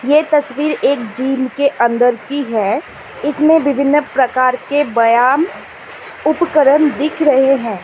ये तस्वीर एक जिम के अंदर की है इसमें विभिन्न प्रकार के बयाम उपकरण दिख रहे हैं।